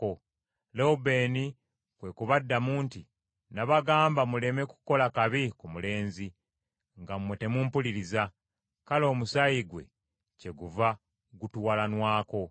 Lewubeeni kwe kubaddamu nti, “Nnabagamba muleme kukola kabi ku mulenzi, nga mmwe temumpuliriza; kale omusaayi gwe kyeguva gutuwalanwako.”